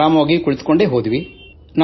ಆರಾಮಾಗೇ ಕುಳಿತುಕೊಂಡು ಬಂದೆವು